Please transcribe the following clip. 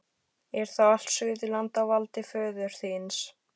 Er þá allt Suðurland á valdi föður þíns?